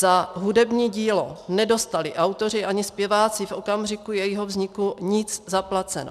Za hudební dílo nedostali autoři ani zpěváci v okamžiku jeho vzniku nic zaplaceno.